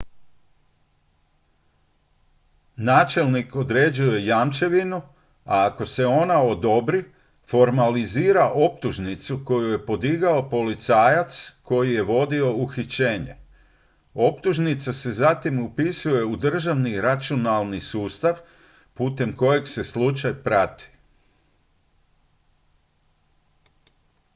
načelnik određuje jamčevinu a ako se ona odobri formalizira optužnicu koju je podigao policajac koji je vodio uhićenje optužnica se zatim upisuje u državni računalni sustav putem kojeg se slučaj prati